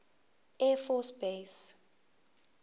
air force base